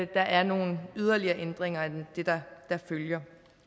der er nogle yderligere ændringer af det der følger